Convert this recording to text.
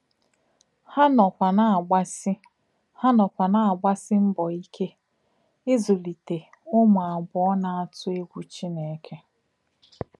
Hà nọ̀kwà nà-àgbàsí Hà nọ̀kwà nà-àgbàsí mbò íké ízùlítè Ùmù àbùọ̀ nà-àtù ègwù Chínèkè.